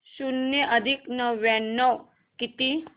शून्य अधिक नव्याण्णव किती